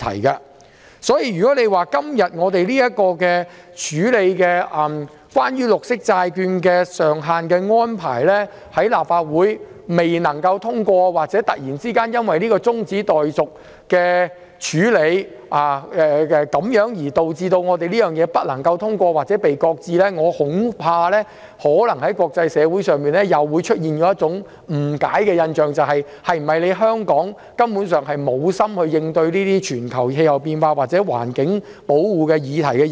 因此，立法會今天審議有關綠色債券借款上限安排的決議案，假如決議案不獲通過，或突然因為中止待續議案而導致決議案不獲通過或被擱置，我恐怕可能會令國際社會有所誤解或產生錯誤的印象，認為香港是否根本無心應對全球氣候變化或環境保護議題。